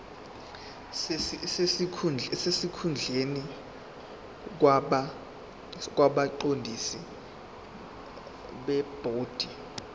sesikhundleni kwabaqondisi bebhodi